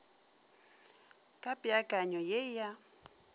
ka peakanyong ye e a